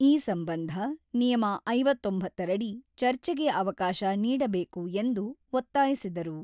ಈ ಸಂಬಂಧ ನಿಯಮ ಐವತ್ತೊಂಬತ್ತ ರಡಿ ಚರ್ಚೆಗೆ ಅವಕಾಶ ನೀಡಬೇಕು ಎಂದು ಒತ್ತಾಯಿಸಿದರು.